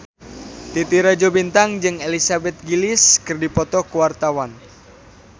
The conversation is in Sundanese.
Titi Rajo Bintang jeung Elizabeth Gillies keur dipoto ku wartawan